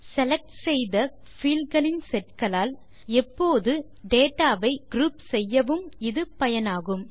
select செய்த fieldகளின் set களால் எப்போது டேட்டா வை குரூப் செய்யவும் இது பயனாகும்